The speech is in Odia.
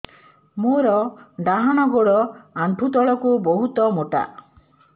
ମୋର ଡାହାଣ ଗୋଡ ଆଣ୍ଠୁ ତଳୁକୁ ବହୁତ ମୋଟା